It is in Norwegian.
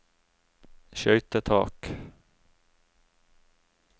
skøytetak